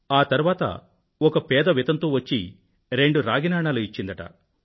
ఆ తరువాత ఒక పేద వితంతువు వచ్చి రెండు రాగి నాణాలు ఇచ్చిందట